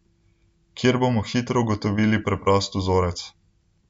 Kjer bomo hitro ugotovili preprost vzorec.